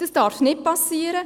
Dies darf nicht geschehen.